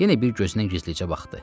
Yenə bir gözünə gizlicə baxdı.